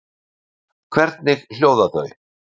Hvernig hljóða þau?